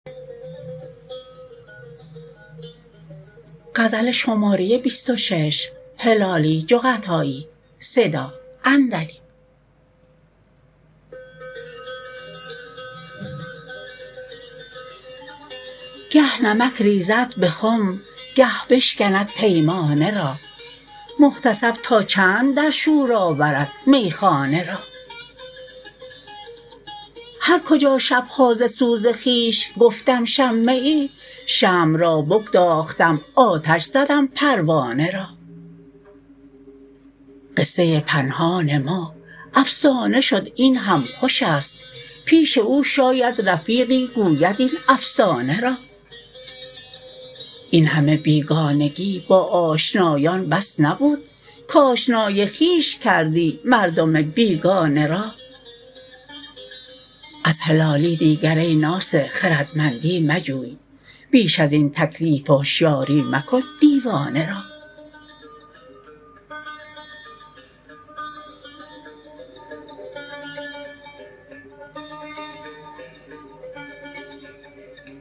گه نمک ریزد بخم گه بشکند پیمانه را محتسب تا چند در شور آورد می خانه را هر کجا شبها ز سوز خویش گفتم شمه ای شمع را بگداختم آتش زدم پروانه را قصه پنهان ما افسانه شد این هم خوشست پیش او شاید رفیقی گوید این افسانه را این همه بیگانگی با آشنایان بس نبود کاشنای خویش کردی مردم بیگانه را از هلالی دیگر ای ناصح خردمندی مجوی بیش ازین تکلیف هشیاری مکن دیوانه را